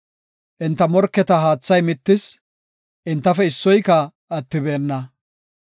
Enta morketa haathay mittis; entafe issoyka attibeenna.